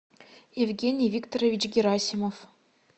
евгений викторович герасимов